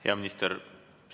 Hea minister!